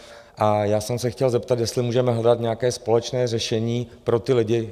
A já jsem se chtěl zeptat, jestli můžeme hledat nějaké společné řešení pro ty lidi?